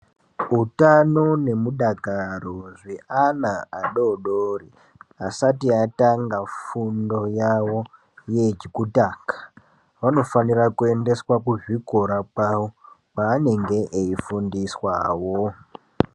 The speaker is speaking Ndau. Wutano nemudakaro zve ana adodori asati atanga fundo yawo, yekutanga, vanofanira kuyendeswa kuzvikora kwavo kwavanenge eyifundiswawo.